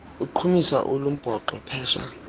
uqhumisa olumbhoxo phesha